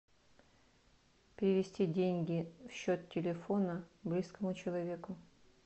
перевести деньги в счет телефона близкому человеку